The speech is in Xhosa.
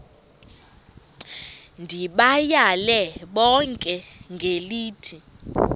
ndibayale bonke ngelithi